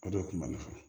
O de kun ma ne fa